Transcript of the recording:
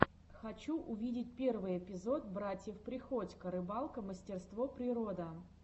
хочу увидеть первый эпизод братьев приходько рыбалка мастерство природа